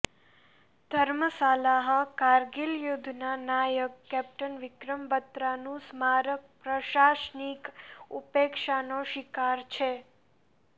ધર્મશાલાઃ કારગીલ યુદ્ધના નાયક કેપ્ટન વિક્રમ બત્રાનું સ્મારક પ્રશાસનિક ઉપેક્ષાનો શિકાર છે